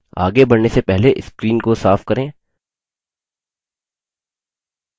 आगे बढ़ने से पहले screen को साफ करें